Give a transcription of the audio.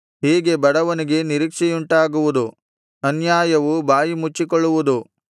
ಹೀಗೆ ಬಡವನಿಗೆ ನಿರೀಕ್ಷೆಯುಂಟಾಗುವುದು ಅನ್ಯಾಯವು ಬಾಯಿ ಮುಚ್ಚಿಕೊಳ್ಳುವುದು